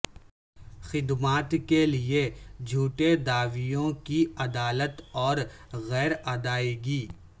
خدمات کے لئے چھوٹے دعویوں کی عدالت اور غیر ادائیگی